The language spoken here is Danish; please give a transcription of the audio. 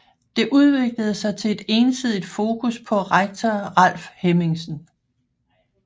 Det udviklede sig til et ensidigt fokus på rektor Ralf Hemmingsen